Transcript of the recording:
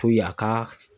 a ka